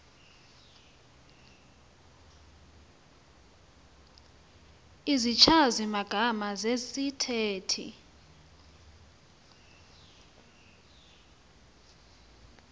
izichazi magama zesithethe